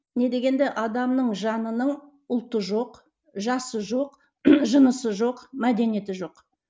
не дегенді адамның жанының ұлты жоқ жасы жоқ жынысы жоқ мәдениеті жоқ